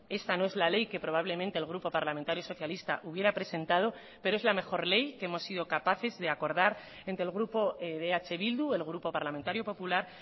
esta no es la ley que probablemente el grupo parlamentario socialista hubiera presentado pero es la mejor ley que hemos sido capaces de acordar entre el grupo de eh bildu el grupo parlamentario popular